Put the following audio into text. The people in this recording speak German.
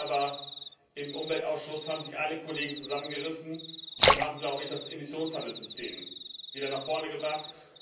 Aber im Umweltausschuss haben sich alle Kollegen zusammengerissen und das Emissionshandelssystem wieder nach vorn gebracht.